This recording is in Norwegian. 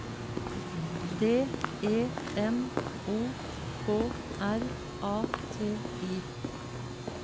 D E M O K R A T I